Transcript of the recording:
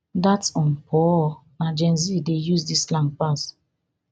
dats on purr na gen z dey use dis slang pass